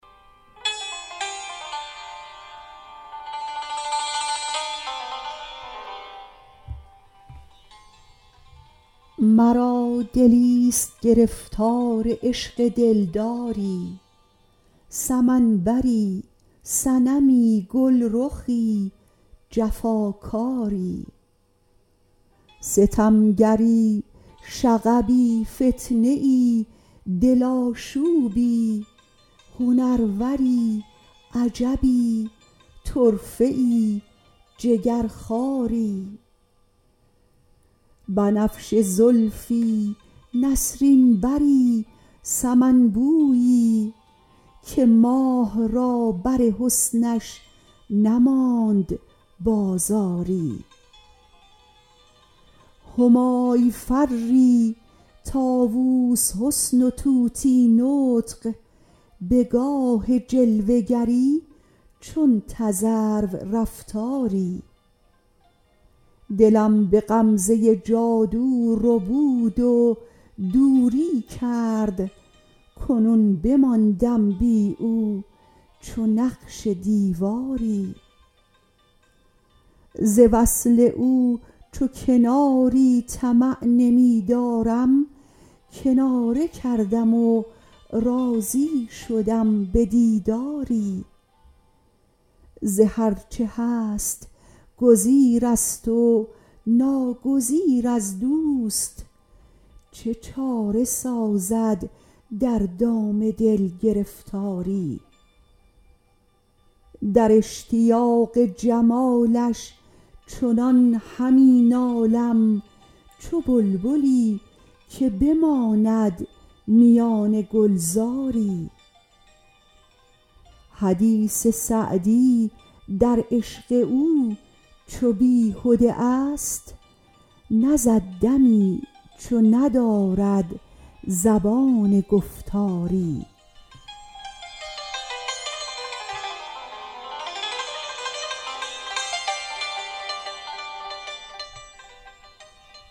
مرا دلیست گرفتار عشق دلداری سمن بری صنمی گلرخی جفاکاری ستمگری شغبی فتنه ای دل آشوبی هنروری عجبی طرفه ای جگرخواری بنفشه زلفی نسرین بری سمن بویی که ماه را بر حسنش نماند بازاری همای فری طاووس حسن و طوطی نطق به گاه جلوه گری چون تذرو رفتاری دلم به غمزه جادو ربود و دوری کرد کنون بماندم بی او چو نقش دیواری ز وصل او چو کناری طمع نمی دارم کناره کردم و راضی شدم به دیداری ز هر چه هست گزیر است و ناگزیر از دوست چه چاره سازد در دام دل گرفتاری در اشتیاق جمالش چنان همی نالم چو بلبلی که بماند میان گلزاری حدیث سعدی در عشق او چو بیهده ا ست نزد دمی چو ندارد زبان گفتاری